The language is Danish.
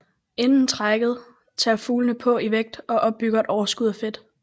Inden trækket tager fuglene på i vægt og opbygger et overskud af fedt